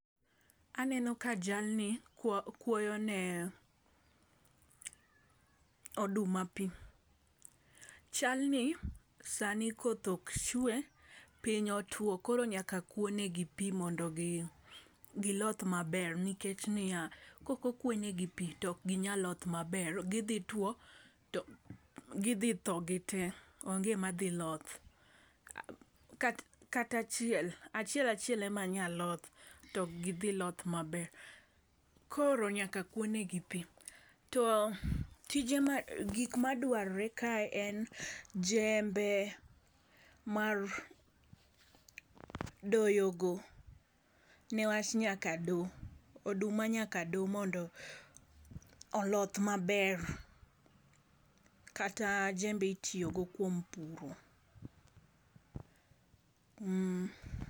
Aneno ka jalni kua kuoyo ne oduma pii. Chal ni sani koth ok chwe piny otuo koro nyaka kuo ne gi pii mondo gi giloth maber nikech niya, koko kwone gi pii tok ginyal loth maber gidhi two to gidhi tho gitee onge madhi loth. Ka kata chiel achiel achiel ema nyaloth tok gidhi loth maber koro nyaka kwo ne gi pii. To tije gik madwarrre kae en jembe mar doyo go newach nyaka doo . Oduma nyaka doo mondo oloth maber kata jembe itiyo go kuom puro.